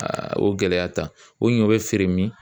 o gɛlɛya ta o ɲɔ bɛ feere min